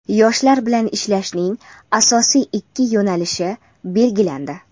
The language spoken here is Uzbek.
Yoshlar bilan ishlashning asosiy ikki yo‘nalishi belgilandi.